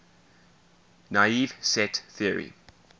naive set theory